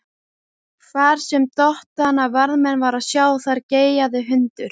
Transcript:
Hvar sem dottandi varðmann var að sjá, þar geyjaði hundur.